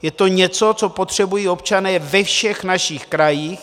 Je to něco, co potřebují občané ve všech našich krajích.